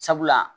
Sabula